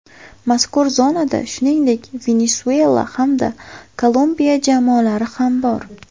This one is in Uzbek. Mazkur zonada, shuningdek, Venesuela hamda Kolumbiya jamoalari ham bor.